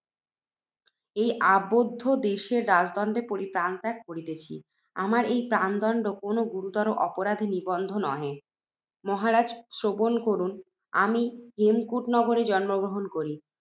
এই অবান্ধব দেশে রাজদণ্ডে প্রাণত্যাগ করিতেছি, আমার এই প্রাণদণ্ড কোনও গুরুতর অপরাধ নিবন্ধন নহে। মহারাজ! শ্রবণ করুন, আমি হেমকূটনগরে জন্মগ্রহণ করি।